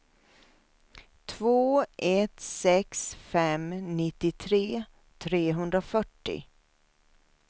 två ett sex fem nittiotre trehundrafyrtio